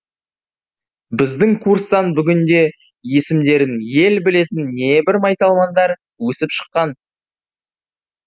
біздің курстан бүгінде есімдерін ел білетін небір майталмандар өсіп шыққан